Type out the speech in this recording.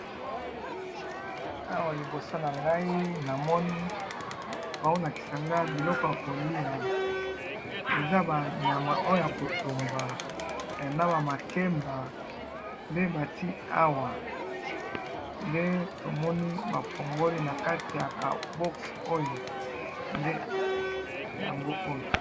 Awa liboso na ngai na moni sani ya pembe na biloko ya kolia na kati